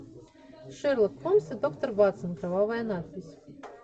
шерлок холмс и доктор ватсон кровавая надпись